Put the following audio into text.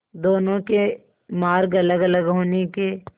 दोनों के मार्ग अलगअलग होने के